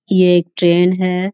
ये एक ट्रेन है।